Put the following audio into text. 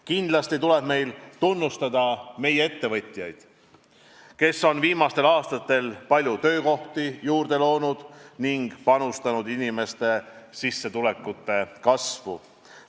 Kindlasti tuleb meil tunnustada meie ettevõtjaid, kes on viimastel aastatel palju töökohti juurde loonud ning panustanud inimeste sissetulekute kasvu.